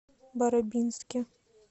барабинске